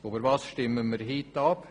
Worüber stimmen wir heute ab?